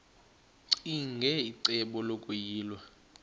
ccinge icebo lokuyilwa